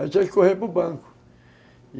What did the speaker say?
Aí tinha que correr para o Banco, e